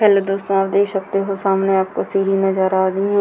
Hello दोस्तो आप देख सकते हो सामने आपको सीढ़ी नजर आ रही है।